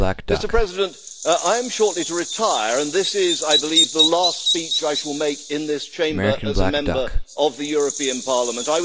Mr President, I am shortly to retire, and this is, I believe, the last speech I shall make in this Chamber as a Member of the European Parliament.